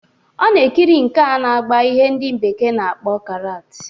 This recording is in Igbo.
Ọ na-ekiri nke a na-agba ihe ndị bekee na-akpọ karaat.